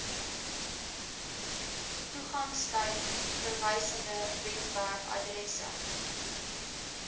toegangstyd verwysende webwerfaddresse